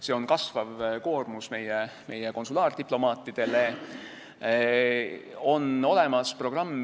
See tähendab meie konsulaardiplomaatide kasvavat koormust.